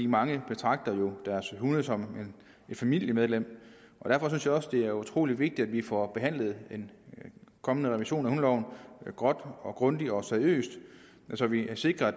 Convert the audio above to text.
mange betragter jo deres hunde som et familiemedlem derfor synes jeg også det er utrolig vigtigt at vi får behandlet en kommende revision af hundeloven godt grundigt og seriøst så vi sikrer at